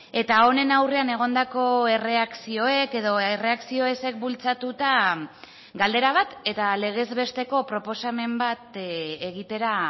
eta honen aurrean egondako erreakzioek edo erreakzio ezek bultzatuta galdera bat eta legez besteko proposamen bat egitera